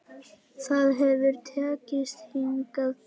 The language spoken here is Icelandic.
Það hefur tekist hingað til.